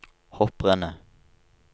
hopprennet